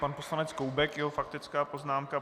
Pan poslanec Koubek, jeho faktická poznámka.